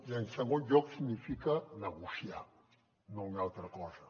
i en segon lloc significa negociar no una altra cosa